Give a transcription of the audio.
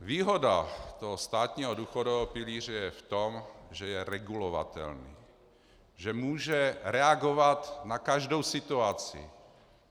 Výhoda toho státního důchodového pilíře je v tom, že je regulovatelný, že může reagovat na každou situaci.